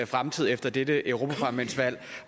fremtid efter dette europaparlamentsvalg